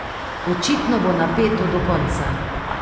Očitno bo napeto do konca.